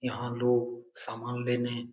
यहाँ लोग सामान लेने --